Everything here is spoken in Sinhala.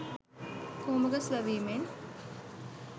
කොහොඹ ගස් වැවීමෙන්